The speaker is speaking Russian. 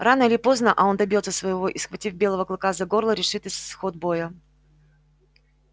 рано или поздно а он добьётся своего и схватив белого клыка за горло решит исход боя